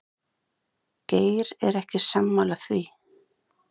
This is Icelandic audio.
Geir er ekki sammála því.